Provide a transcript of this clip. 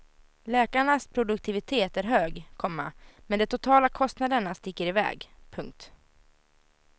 Läkarnas produktivitet är hög, komma men de totala kostnaderna sticker i väg. punkt